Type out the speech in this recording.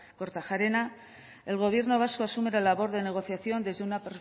kortajarena el gobierno vasco asume la labor de negociación desde una